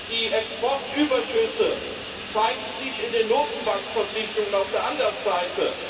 Die Exportüberschüsse zeigen sich in den Notenbankverpflichtungen auf der anderen Seite.